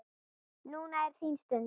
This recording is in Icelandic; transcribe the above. Núna er þín stund.